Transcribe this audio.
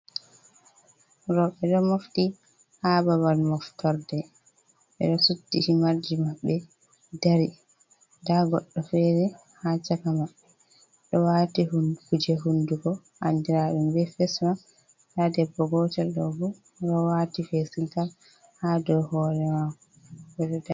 Roɓɓe ɗo mofti ha babal moftorde, ɓe ɗo suddi himarji maɓɓe dari, nda goɗɗo fere ha chaka maɓbe ɗo wati kuje hundugo andira ɗum be fesmak nda debbo gotel ɗo bo o ɗo wati fesin kap ha dow hore mako o ɗo dari.